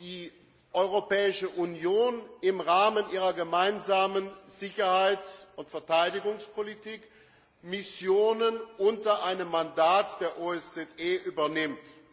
die Europäische Union in Zukunft im Rahmen ihrer Gemeinsamen Sicherheits und Verteidigungspolitik Missionen unter einem Mandat der OSZE übernimmt.